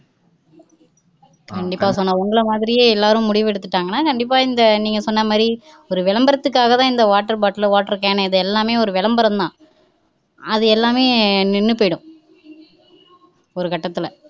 கண்டிப்பா சோனா உங்களை மாதிரியே எல்லோரும் முடிவு எடுத்துட்டாங்கன்னா கண்டிப்பா இந்த நீங்க சொன்ன மாதிரி ஒரு விளம்பரத்துக்காகத்தான் இந்த water bottle water cane எல்லாமே விளம்பரம்தான் அது எல்லாமே நின்னு போய்டும்